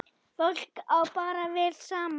Fólk á bara vel saman.